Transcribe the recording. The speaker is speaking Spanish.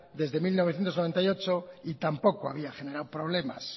desde mil novecientos noventa y ocho y tampoco había generado problemas